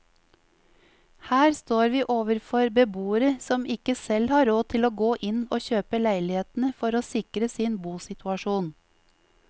Her står vi overfor beboere som ikke selv har råd til å gå inn og kjøpe leilighetene for å sikre sin bosituasjon.